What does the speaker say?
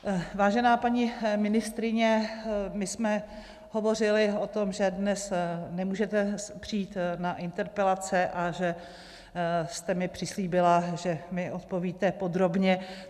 Vážená paní ministryně, my jsme hovořily o tom, že dnes nemůžete přijít na interpelace a že jste mi přislíbila, že mi odpovíte podrobně.